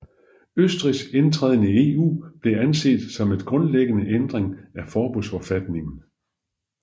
Østrigs indtræden i EU blev anset som en grundlæggende ændring af forbundsforfatningen